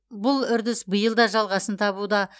бұл үрдіс биыл да жалғасын табуда